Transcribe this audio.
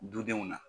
Dudenw na